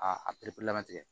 A a perepere latigɛ